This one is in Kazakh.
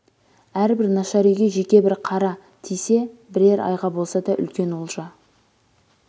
әрбір нашар үйге жеке бір қара тисе бірер айға болса да үлкен олжа